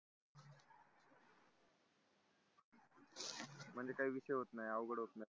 म्हणजे काय विषय होत नाय अवघड होत नाय